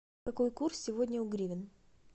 какой курс сегодня у гривен